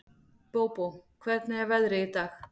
Bóbó, hvernig er veðrið í dag?